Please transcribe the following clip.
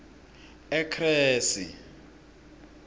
ekresi